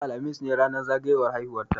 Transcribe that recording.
Yau, alhamis ne ranar zagayowan haihuwa ta.